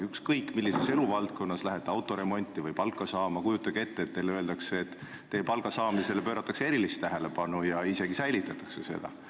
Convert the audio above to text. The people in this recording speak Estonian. Ükskõik millises eluvaldkonnas te ka ei tegutseks, kujutage ette, et lähete autoremonti või palka saama ja teile öeldakse, et teie palga saamisele pööratakse erilist tähelepanu ja isegi säilitatakse seda.